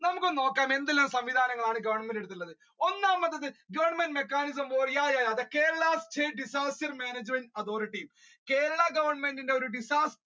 നമ്മുക്ക് ഒന്ന് നോക്കാം എന്തൊക്കെ സംവിധാനങ്ങളാണ് ഗവണ്മെന്റ് എടുത്തിട്ടുള്ളത് ഒന്നാമത്തത് Government mechanism or yeah yeah yeah the Kerala State disaster management authority Kerala ഗവണ്മെന്റിന്റെ ഒരു disaster